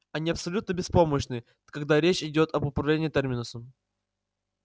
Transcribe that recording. они абсолютно беспомощны когда речь идёт об управлении терминусом